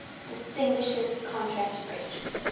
distinguishes contract bridge